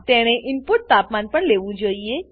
તેણે ઈનપુટ તાપમાન પણ લેવું જોઈએ